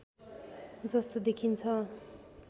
जस्तो देखिन्छ